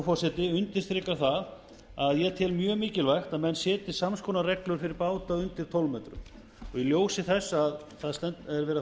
forseti undirstrikar það að ég tel mjög mikilvægt að menn setji sams konar reglur fyrir báta undir tólf metrum og í ljósi þess að það á að fara